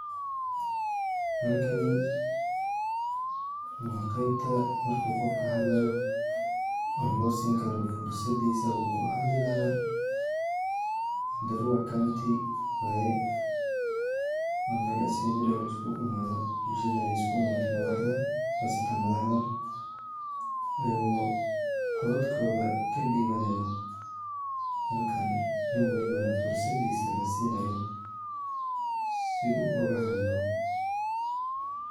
Halkani waa qebta marka qofka hadlayo oo loo sin karo fursadiisa uu kuhadli laha nyandarua County waye, waa Mel assembly oo lisku imaado, bulshadana ay isku imaato madaxda qasatan madaxda ayago codadkoda kadhiibanayo halkan nin welibo na fursadiisa la siinayo si oga hadlo